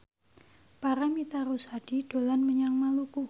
Paramitha Rusady dolan menyang Maluku